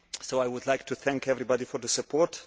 I would like to thank everybody for their support.